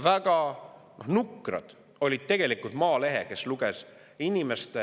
Väga nukker oli tegelikult Maalehes – kes luges?